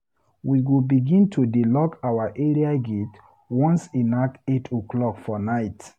We go begin to dey lock our area gate once e nak 8:00 for night.